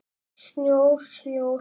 Snjór, snjór.